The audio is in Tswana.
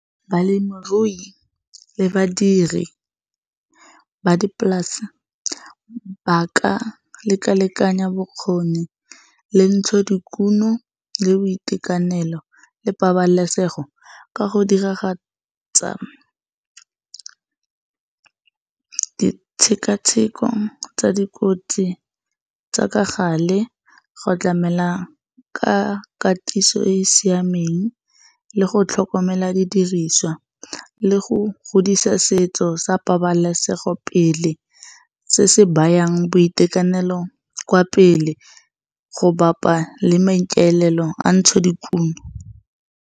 Balemirui le badiri ba dipolase ba ka lekalekanya bokgoni le ntsho dikuno le boitekanelo le pabalesego ka go diragatsa di tshekatsheko tsa dikotsi tsa ka gale, go tlamela ka katiso e e siameng le go tlhokomela di diriswa le go godisa setso sa pabalesego pele se se bayang boitekanelo kwa pele, go bapa le maikalelo a ntsho dikuno.